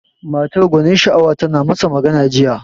Matar gwanin sha'awa tana masa magana jiya.